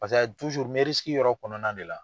Paseke ayi n bɛ yɔrɔ kɔnɔna de la.